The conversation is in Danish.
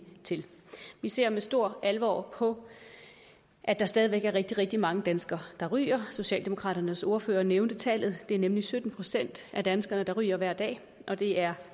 til vi ser med stor alvor på at der stadig væk er rigtig rigtig mange danskere der ryger socialdemokraternes ordfører nævnte tallet det er nemlig sytten procent af danskerne der ryger hver dag og det er